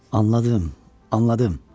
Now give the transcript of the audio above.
Anladım, anladım.